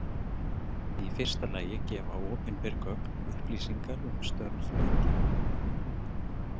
Í fyrsta lagi gefa opinber gögn upplýsingar um störf lögreglu.